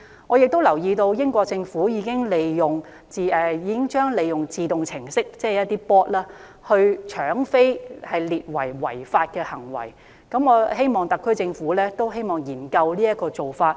我亦留意到英國政府已經將一些利用自動程式的搶票行為列為違法，我希望特區政府也可以研究這個做法。